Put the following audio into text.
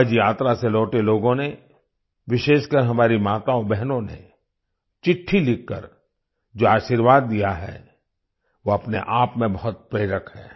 हज यात्रा से लौटे लोगों ने विशेषकर हमारी माताओंबहनों ने चिट्ठी लिखकर जो आशीर्वाद दिया है वो अपने आप में बहुत प्रेरक है